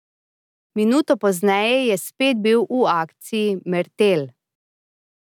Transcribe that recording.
Minuto pozneje je spet bil v akciji Mertelj.